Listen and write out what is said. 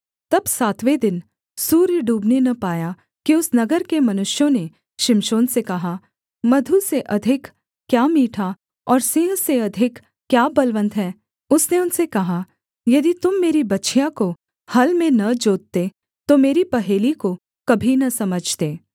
तब सातवें दिन सूर्य डूबने न पाया कि उस नगर के मनुष्यों ने शिमशोन से कहा मधु से अधिक क्या मीठा और सिंह से अधिक क्या बलवन्त है उसने उनसे कहा यदि तुम मेरी बछिया को हल में न जोतते तो मेरी पहेली को कभी न समझते